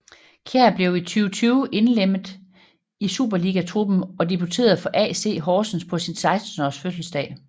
Kjær blev i 2020 indlemmet i superligatruppen og debuterede for AC Horsens på sin 16 års fødselsdag